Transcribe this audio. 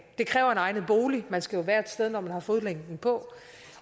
det kræver en egnet bolig man skal jo være et sted når man har fodlænken på